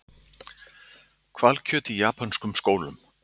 Hvalkjöt í japönskum skólum